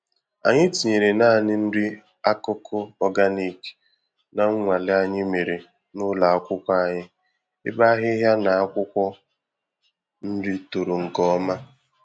Anyị tinyere nanị nri-akụkụ ọganik na mnwale anyị mèrè n'ụlọ akwụkwọ anyị, ebe ahịhịa na akwụkwọ nri toro nke ọma